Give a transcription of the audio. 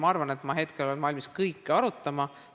Ma arvan, et ma hetkel olen valmis kõike arutama.